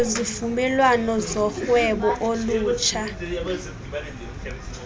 ngezivumelwano zorhwebo olutsha